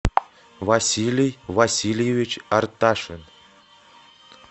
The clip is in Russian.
василий васильевич арташин